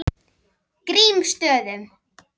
Grímsstöðum